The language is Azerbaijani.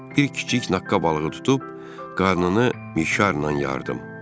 Bir kiçik naqqab balığı tutub qarnını mişarla yardım.